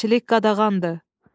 Dəmirçilik qadağandır!"